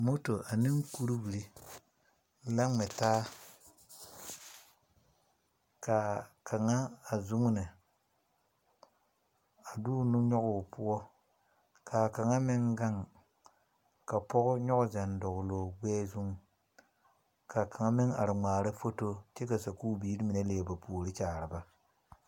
Moto ane kuwire la ŋmɛ taa. Ka a kanga a zuŋne a de o nu yɔge o poʊ. Ka a kanga meŋ gaŋ ka pɔgɔ yɔge zel dogle o gbɛɛ zu. Ka kanga meŋ are ŋmaara foto kyɛ ka sukuu biire mene liɛ ba poore kyaare ba